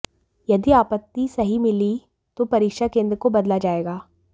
यदि आपत्ति सही मिली तो परीक्षा केंद्र को बदला जाएगा